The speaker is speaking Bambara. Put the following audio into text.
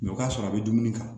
Mɛ o ka sɔrɔ a bɛ dumuni kan